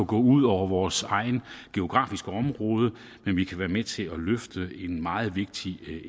gå ud over vores eget geografiske område når vi kan være med til at løfte en meget vigtig